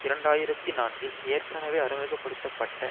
இரண்டு ஆயிரத்தி நான்கில் ஏற்கனவே அறிமுக படுத்த பட்ட